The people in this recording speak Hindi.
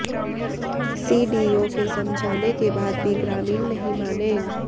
सीडीओ के समझाने के बाद भी ग्रामीण नहीं माने